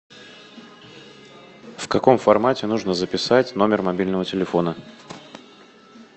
в каком формате нужно записать номер мобильного телефона